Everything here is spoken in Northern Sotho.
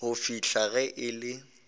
go fihla ge e le